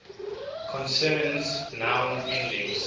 concerns noun endings